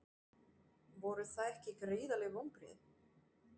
Voru það ekki gríðarleg vonbrigði?